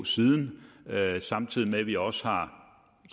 siden samtidig med at vi også har